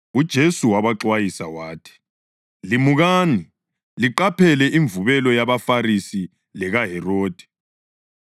UJesu wabaxwayisa wathi, “Limukani, liqaphele imvubelo yabaFarisi lekaHerodi.”